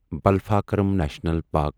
Balphakram national park